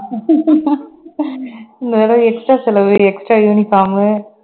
இந்த தடவை extra செலவு extra uniform உ